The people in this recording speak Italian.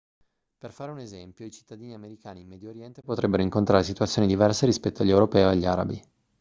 per fare un esempio i cittadini americani in medio oriente potrebbero incontrare situazioni diverse rispetto agli europei o agli arabi